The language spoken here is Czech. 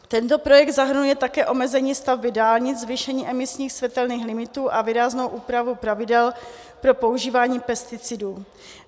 Tento projekt zahrnuje také omezení stavby dálnic, zvýšení emisních, světelných limitů a výraznou úpravu pravidel pro používání pesticidů.